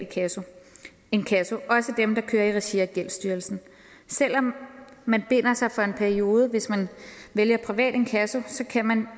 inkasso også dem der kører i regi af gældsstyrelsen selv om man binder sig for en periode hvis man vælger privat inkasso kan man